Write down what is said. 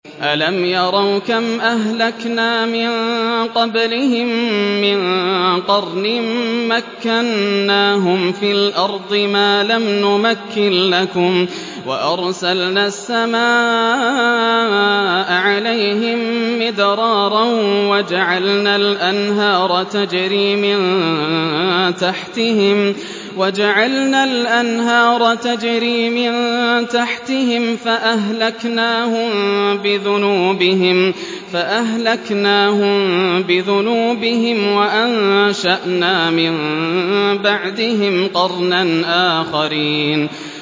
أَلَمْ يَرَوْا كَمْ أَهْلَكْنَا مِن قَبْلِهِم مِّن قَرْنٍ مَّكَّنَّاهُمْ فِي الْأَرْضِ مَا لَمْ نُمَكِّن لَّكُمْ وَأَرْسَلْنَا السَّمَاءَ عَلَيْهِم مِّدْرَارًا وَجَعَلْنَا الْأَنْهَارَ تَجْرِي مِن تَحْتِهِمْ فَأَهْلَكْنَاهُم بِذُنُوبِهِمْ وَأَنشَأْنَا مِن بَعْدِهِمْ قَرْنًا آخَرِينَ